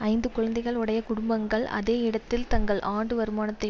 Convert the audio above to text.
ஐந்து குழந்தைகள் உடைய குடும்பங்கள் அதே இடத்தில் தங்கள் ஆண்டு வருமானத்தை